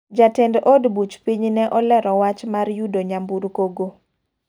Jatend od buch piny ne olero wach mar yudo nyamburko go.